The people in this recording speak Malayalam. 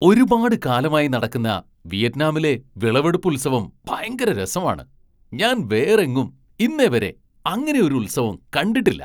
ഒരുപാട് കാലമായി നടക്കുന്ന വിയറ്റ്നാമിലെ വിളവെടുപ്പുത്സവം ഭയങ്കര രസമാണ്, ഞാൻ വേറെങ്ങും ഇന്നേവരെ അങ്ങനെ ഒരു ഉത്സവം കണ്ടിട്ടില്ല.